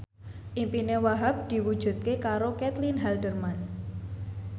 impine Wahhab diwujudke karo Caitlin Halderman